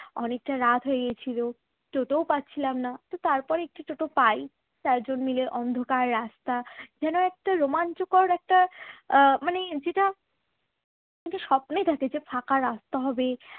অনেকটা রাত হয়ে গিয়েছিল টোটো ও পাচ্ছিলাম না তো তারপর একটা টোটো পাই চার জন মিলে অন্ধকার রাস্তা যেন একটা রোমাঞ্চকর একটা মানে যেটা মানে স্বপ্নে দেখা যে একটা ফাঁকা রাস্তা হবে